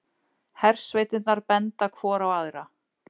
Hersveitirnar benda hvor á aðra